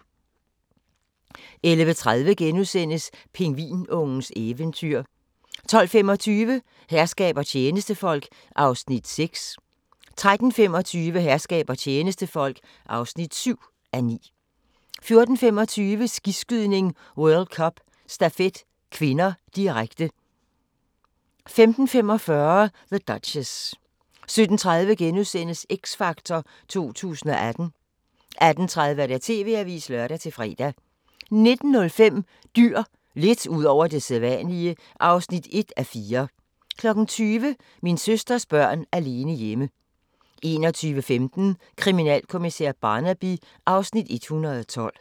11:30: Pingvinungens eventyr * 12:25: Herskab og tjenestefolk (6:9) 13:25: Herskab og tjenestefolk (7:9) 14:25: Skiskydning: World Cup - stafet (k), direkte 15:45: The Duchess 17:30: X Factor 2018 * 18:30: TV-avisen (lør-fre) 19:05: Dyr – lidt ud over det sædvanlige (1:4) 20:00: Min søsters børn alene hjemme 21:15: Kriminalkommissær Barnaby (Afs. 112)